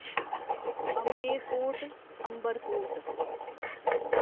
Amer fort Amber fort